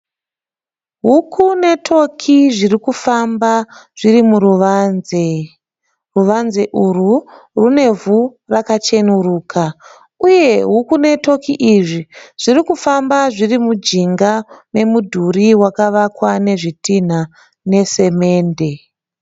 huku netoki zviri kufamba zviri muruvanze, ruvanze urwu rwune ivhu rakachenuruka uye huku netoki izvi zviri kufamba zviri mujinga memudhuri wakavakwa nezvitinha nesemende.